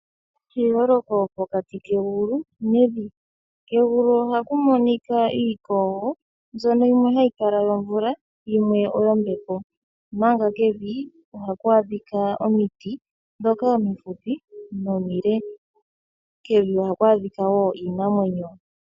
Eyooloko pokati kegulu nevi ,kugulu ohaku monika iikogo mbyono yimwe hayi kala yomvula omanga yimwe oyo mbepo ,omanga kevi ohaku adhika omiti dhoka omifupi naadhoka omile kevi ohaku adhika wo iinamwenyo.